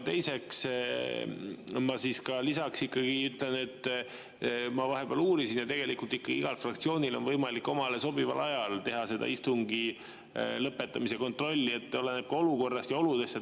Teiseks, ma lisaks ütlen, et ma vahepeal uurisin ja tegelikult ikka igal fraktsioonil on võimalik omale sobival ajal teha istungi lõpetamise, oleneb olukorrast ja oludest.